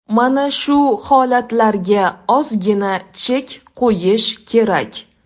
Mana shu holatlarga ozgina chek qo‘yish kerak.